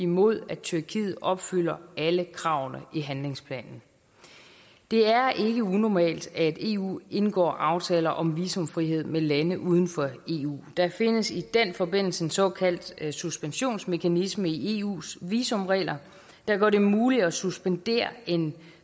mod at tyrkiet opfylder alle kravene i handlingsplanen det er ikke unormalt at eu indgår aftaler om visumfrihed med lande uden for eu der findes i den forbindelse en såkaldt suspensionsmekanisme i eus visumregler der gør det muligt at suspendere en